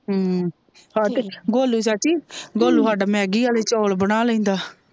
ਹਮ ਗੋਲੂ ਚਾਚੀ ਗੋਲੂ ਸਾਡਾ ਮੈਗੀ ਆਲੇ ਚੋਲ ਬਣਾ ਲੈਂਦਾ।